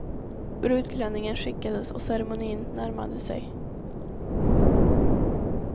Brudklänningen skickades och ceremonin närmade sig.